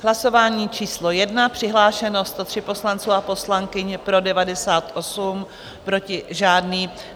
V hlasování číslo 1 přihlášeno 103 poslanců a poslankyň, pro 98, proti žádný.